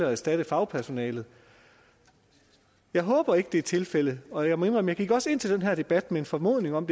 og erstatte fagpersonalet jeg håber ikke det er tilfældet og jeg må indrømme at jeg også gik ind til den her debat med en formodning om